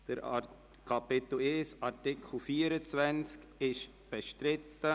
Der Artikel 24a Absatz 5 ist bestritten.